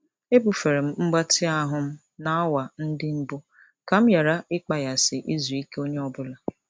Ebufere m mgbatị ahụ m n'awa ndị mbụ ka m ghara ịkpaghasị izu ike onye ọ bụla.